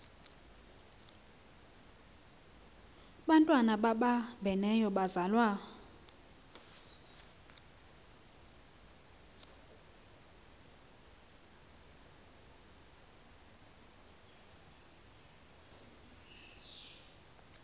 bantwana babambeneyo bazalwa